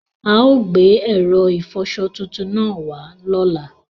Aò gbe èrò ifọsọ tuntun naa wà lá.